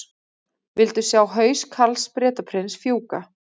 Vildu sjá haus Karls Bretaprins fjúka